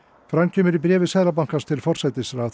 fram kemur í bréfi Seðlabankans til forsætisráðherra